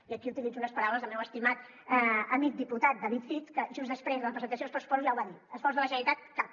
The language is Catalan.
i aquí utilitzo unes paraules del meu estimat amic diputat david cid que just després de la presentació dels pressupostos ja ho va dir esforç de la generalitat cap